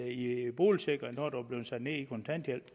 i boligsikring når du er blevet sat ned i kontanthjælp